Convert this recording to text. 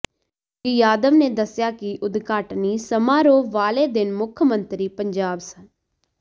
ਸ੍ਰੀ ਯਾਦਵ ਨੇ ਦੱਸਿਆ ਕਿ ਉਦਘਾਟਨੀ ਸਮਾਰੋਹ ਵਾਲੇ ਦਿਨ ਮੁਖ ਮੰਤਰੀ ਪੰਜਾਬ ਸ